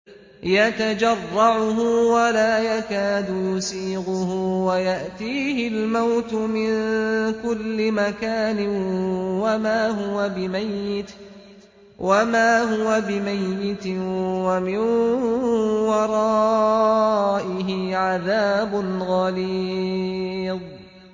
يَتَجَرَّعُهُ وَلَا يَكَادُ يُسِيغُهُ وَيَأْتِيهِ الْمَوْتُ مِن كُلِّ مَكَانٍ وَمَا هُوَ بِمَيِّتٍ ۖ وَمِن وَرَائِهِ عَذَابٌ غَلِيظٌ